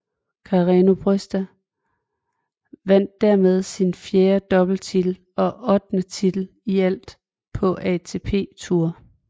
Carreño Busta vandt dermed sin fjerde doubletitel og ottende titel i alt på ATP Tour